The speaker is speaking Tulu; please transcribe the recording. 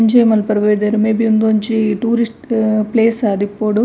ಎಂಜೋಯ್ ಮನ್ಪರೆ ಬೈದೆರ್ ಮೇಬಿ ಉಂದೊಂಜಿ ಟೂರಿಸ್ಟ್ ಪ್ಲೇಸ್ ಆದಿಪ್ಪೊಡು.